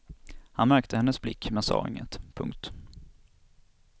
Han märkte hennes blick men sa inget. punkt